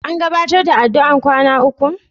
An gabatar da addu'ar kwana ukun?